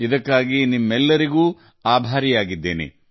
ಅದಕ್ಕಾಗಿ ನಾನು ನಿಮಗೆ ತುಂಬಾ ಕೃತಜ್ಞನಾಗಿದ್ದೇನೆ